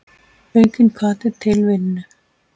Aukinn hvati til vinnu.